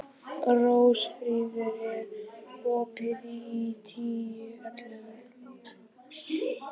Rósfríður, er opið í Tíu ellefu?